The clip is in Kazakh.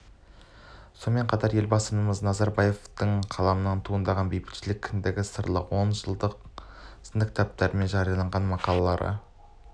сонымен қатар елбамысыз назарбаевтың қаламынан туындаған бейбітшілік кіндігі сындарлы он жыл сынды кітаптары мен жарияланған мақалалары